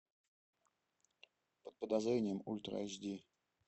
под подозрением ультра айч ди